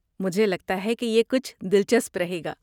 مجھے لگتا ہے یہ کچھ دلچسپ رہے گا۔